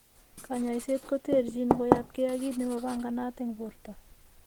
Konyoiset koterchin koyop ke ak kit nemapanganat en porto.